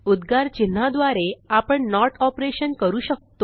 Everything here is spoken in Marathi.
उद्गार चिन्हाद्वारे आपण नोट ऑपरेशन करू शकतो